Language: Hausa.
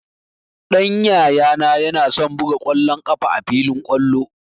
Ɗan Yayana yana son buga ƙwallon ƙafa a filin kwallo